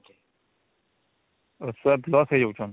ଆଉ ଛୁଆ plus ହେଇଯାଉଛନ